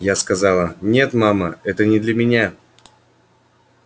я сказала нет мама это не для меня